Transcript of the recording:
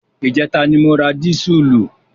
Ìjẹta ni mo ra dísùlù.